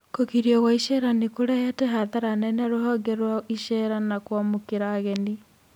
Kũgirio kwa icera nĩkũrehete hathara nene rũhonge rwa icera na kwamũkĩra ageni